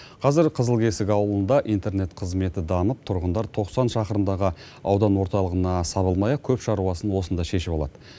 қазір қызылкесік ауылында интернет қызметі дамып тұрғындар тоқсан шақырымдағы аудан орталығына сабылмай ақ көп шаруасын осында шешіп алады